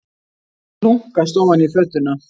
Þeir hlunkast ofan í fötuna.